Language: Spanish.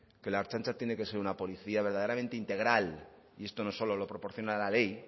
que la ertzaintza tiene que ser una policía verdaderamente integral y esto no solo lo proporciona la ley